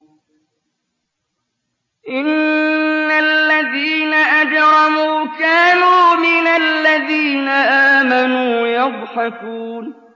إِنَّ الَّذِينَ أَجْرَمُوا كَانُوا مِنَ الَّذِينَ آمَنُوا يَضْحَكُونَ